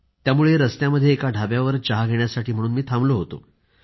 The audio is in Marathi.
त्यामुळं रस्त्यामध्ये एका ढाब्यावर चहा घेण्यासाठी म्हणून मी थांबलो होतो